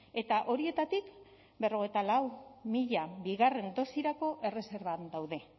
eta horietatik berrogeita lau mila bigarren dosirako erreserban daude